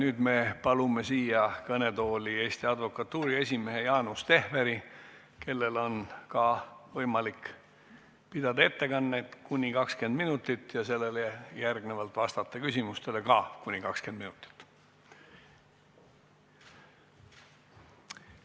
Nüüd me palume siia kõnetooli Eesti Advokatuuri esimehe Jaanus Tehveri, kellel on ka võimalik pidada ettekanne kuni 20 minutit ja seejärel vastata küsimustele samuti kuni 20 minutit.